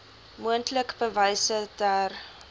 moontlik bewyse ter